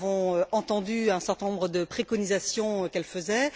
nous avons entendu un certain nombre de préconisations qu'elle faisait.